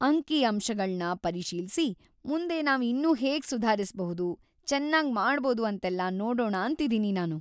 ಅಂಕಿಅಂಶಗಳ್ನ ಪರಿಶೀಲ್ಸಿ ಮುಂದೆ ನಾವ್ ಇನ್ನೂ ಹೇಗ್‌ ಸುಧಾರಿಸ್ಬಹುದು, ಚೆನ್ನಾಗ್‌ ಮಾಡ್ಬೋದು ಅಂತೆಲ್ಲ ನೋಡೋಣ ಅಂತಿದೀನಿ ನಾನು.